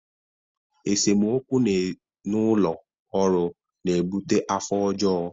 Esemokwu n'ụlọ ọrụ na ebute afọ ọjọ.